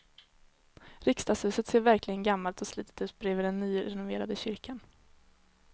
Riksdagshuset ser verkligen gammalt och slitet ut bredvid den nyrenoverade kyrkan.